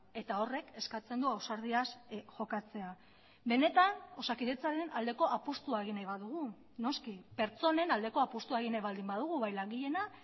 eta horrek eskatzen du ausardiaz jokatzea benetan osakidetzaren aldeko apustua egin nahi badugu noski pertsonen aldeko apustua egin nahi baldin badugu bai langileena